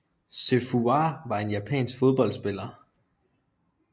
Sei Fuwa var en japansk fodboldspiller